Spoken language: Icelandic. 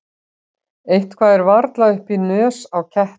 Eitthvað er varla upp í nös á ketti